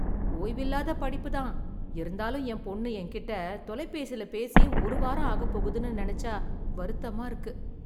ஓய்வில்லாத படிப்பு தான். இருந்தாலும் என் பொண்ணு என்கிட்டே தொலைபேசில பேசியே ஒரு வாரம் ஆகப் போகுதுன்னு நினச்சா வருத்தமா இருக்கு.